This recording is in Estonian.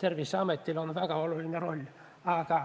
Terviseametil on väga oluline roll, aga